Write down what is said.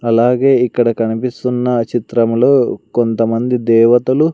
అలాగే ఇక్కడ కనిపిస్తున్న చిత్రములు కొంతమంది దేవతలు--